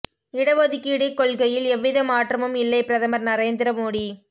இடஒதுக்கீடு கொள்கையில் எவ்வித மாற்றமும் இல்லை பிரதமர் நரேந்திர மோடி